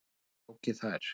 Ingi tók í þær.